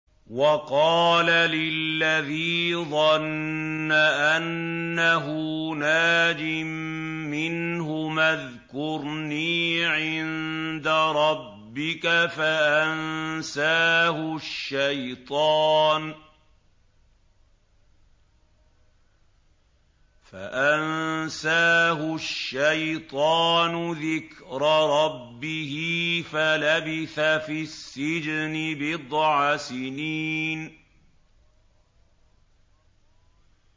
وَقَالَ لِلَّذِي ظَنَّ أَنَّهُ نَاجٍ مِّنْهُمَا اذْكُرْنِي عِندَ رَبِّكَ فَأَنسَاهُ الشَّيْطَانُ ذِكْرَ رَبِّهِ فَلَبِثَ فِي السِّجْنِ بِضْعَ سِنِينَ